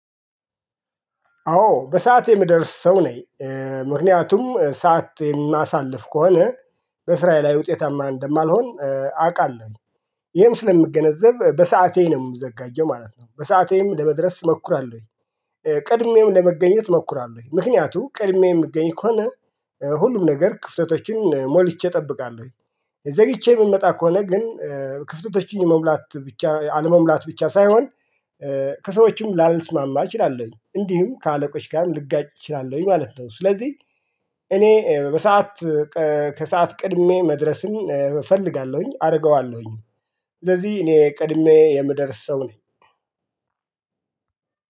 አዎ በሰአት የምደርስ ሰው ነኝ። ምክንያቱም ሰዓት የማሳልፍ ከሆነ በሥራየ ላይ ውጤታማ እንደማልሆን አውቃለሁ። ይህም ስለምገነዘብ በሰአቴ ነው የምዘጋጀው ማለት ነው በሰዓቴም ለመድረስ እሞክራለሁኝ። ቀድሜም ለመገኘት እሞክራለሁኝ ምክንያቱም ቀድሜ የምገኝ ከሆነ ሁሉም ነገር ክፍተቶችን ሞልቼ እጠብቃለሁ። ዘግይቼ የምመጣ ከሆነ ግን ክፍተቶችን መሙላት ብቻ አለመሙላት ብቻ ሳይሆን ከሰዎችም ላልስማማ እችላለሁኝ እንዲሁም ከአለቆች ጋር ልጋጭ እችላለሁኝ ማለት ነው። ስለዚህ እኔ በሰአት ከሰአት ቀድሜ መድረስን እፈልጋለሁኝ አደርገዋለሁኝ። ስለዚህ እኔ ቀድሜ የምደርስ ሰው ነኝ።